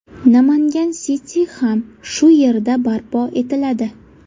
Namangan City ham shu yerda barpo etiladi.